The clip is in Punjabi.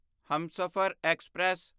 ਹਮਸਫ਼ਰ ਐਕਸਪ੍ਰੈਸ